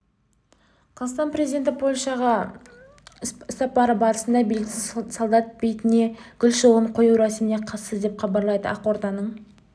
қазақстан президенті польшаға іссапары барысында белгісіз солдат бейітіне гүл шоғын қою рәсіміне қатысты деп хабарлайды ақорданың